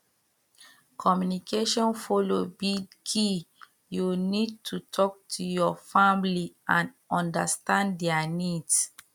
communication follow be key you need to talk to your family and understand dia needs